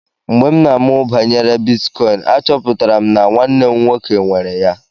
Mgbe m na-amụ banyere bitkọịn, achọpụtara m na nwanne m nwoke nwere ya.